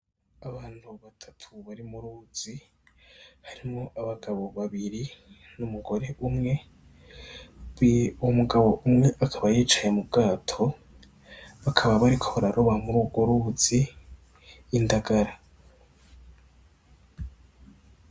Abantu batatu bari mu ruzi, harimwo abagabo babiri n'umugore umwe. Umugabo umwe akaba yicaye mu bwato, bakaba bariko bararoba muri urwo ruzi indagara.